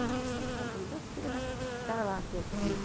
Ah, então está bom, então você fica na, está lá quietinha.